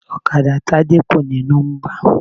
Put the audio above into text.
Ọ̀kadà Tádé kò ní nọ́mbà.